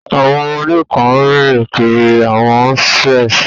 Àwọn ọmọdé kan ń rìn kiri àwọn strees.